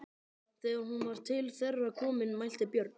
Þegar hún var til þeirra komin mælti Björn: